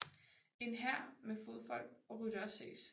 En hær med fodfolk og ryttere ses